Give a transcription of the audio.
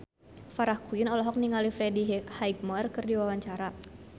Farah Quinn olohok ningali Freddie Highmore keur diwawancara